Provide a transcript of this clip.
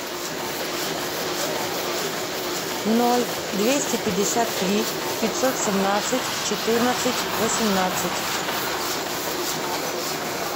ноль двести пятьдесят три пятьсот семнадцать четырнадцать восемнадцать